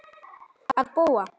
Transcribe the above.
Að búa?